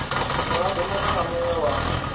muraḓo muṅwe na muṅwe wa